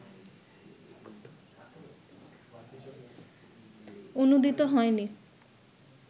অনূদিত হয়নি